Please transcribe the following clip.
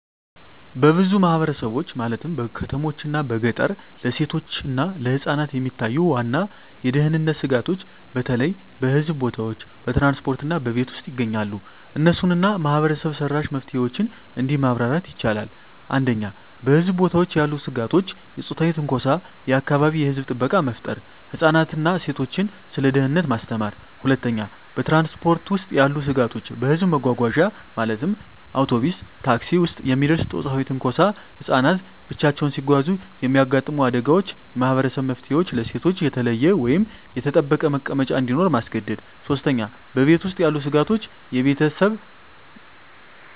በብዙ ማህበረሰቦች (በከተሞችና በገጠር) ለሴቶችና ለህፃናት የሚታዩ ዋና የደህንነት ስጋቶች በተለይ በህዝብ ቦታዎች፣ በትራንስፖርት እና በቤት ውስጥ ይገኛሉ። እነሱን እና ማህበረሰብ-መራሽ መፍትሄዎችን እንዲህ ማብራር ይቻላል፦ 1. በህዝብ ቦታዎች ያሉ ስጋቶች የጾታዊ ትንኮሳ የአካባቢ የህዝብ ጥበቃ መፍጠር ህፃናትን እና ሴቶችን ስለ ደህንነት ማስተማር 2. በትራንስፖርት ውስጥ ያሉ ስጋቶች በህዝብ መጓጓዣ (አውቶቡስ፣ ታክሲ) ውስጥ የሚደርስ ጾታዊ ትንኮሳ ህፃናት ብቻቸውን ሲጓዙ የሚያጋጥሙ አደጋዎች የማህበረሰብ መፍትሄዎች ለሴቶች የተለየ ወይም የተጠበቀ መቀመጫ እንዲኖር ማስገደድ 3. በቤት ውስጥ ያሉ ስጋቶች የቤተሰብ ግፍ